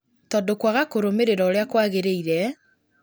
tondũ kwaga kũrũmĩrĩra ũrĩa kwagĩrĩire